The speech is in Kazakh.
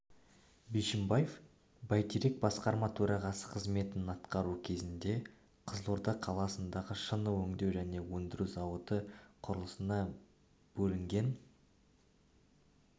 бишімбаев бәйтерек басқарма төрағасы қызметін атқару кезінде қызылорда қаласындағы шыны өңдеу және өндіру зауыты құрылысына бөлінген